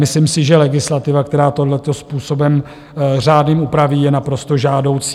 Myslím si, že legislativa, která tohleto způsobem řádným upraví, je naprosto žádoucí.